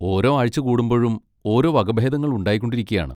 ഓരോ ആഴ്ച കൂടുമ്പോഴും ഓരോ വകഭേദങ്ങൾ ഉണ്ടായിക്കൊണ്ടിരിക്കുകയാണ്.